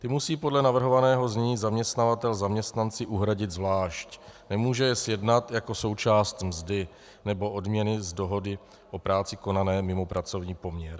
Ty musí podle navrhovaného znění zaměstnavatel zaměstnanci uhradit zvlášť, nemůže je sjednat jako součást mzdy nebo odměny z dohody o práci konané mimo pracovní poměr.